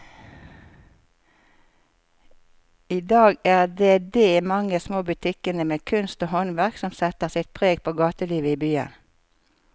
I dag er det de mange små butikkene med kunst og håndverk som setter sitt preg på gatelivet i byen.